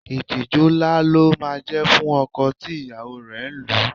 Ìtìjú ńlá ló máa ń jẹ́ fún ọkọ tí ìyàwó rẹ̀ ń lù